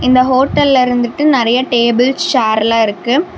இந்த ஹோட்டல இருந்துட்டு நெறய டேபிள் சேர்லா இருக்கு.